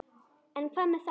En hvað með það?